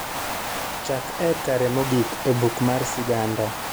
chak e kare mogik e buk mar siganda